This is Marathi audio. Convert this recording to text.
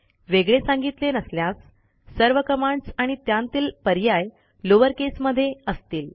वेगळे सांगितले नसल्यास सर्व कमांडस आणि त्यांतील पर्याय लोअर केस मध्ये असतील